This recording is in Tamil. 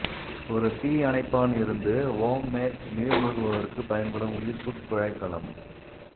ஒரு தீ அணைப்பான் இருந்து ஹோம் மேட் நீர் மூழ்குபவருக்குப் பயன்படும் உயிர்ப்புக் குழாய்க்கலம்